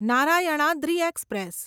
Narayanadri express